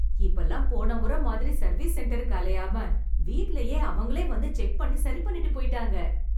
இப்பல்லாம் போன முறை மாதிரி சர்வீஸ் சென்டருக்கு அலையாம, வீட்டிலேயே அவங்களே வந்து செக் பண்ணி சரி பண்ணிட்டு போய்ட்டாங்க.